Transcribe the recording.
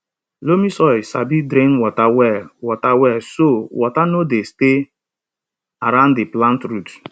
loamy soil sabi drain water well water well so water no dey stay around di plant root